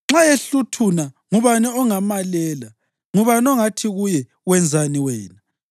Nxa ehluthuna, ngubani ongamalela? Ngubani ongathi kuye, ‘Wenzani wena?’